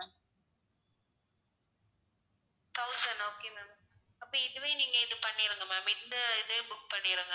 thousand okay ma'am அப்ப இதுவே நீங்க இது பண்ணிருங்க ma'am இந்த இதே book பண்ணிடுங்க.